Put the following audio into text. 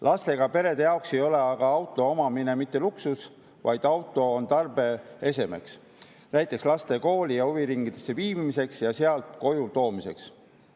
Lastega perede jaoks ei ole aga auto omamine mitte luksus, vaid auto on tarbeese näiteks laste kooli ja huviringidesse viimiseks ja sealt koju toomiseks.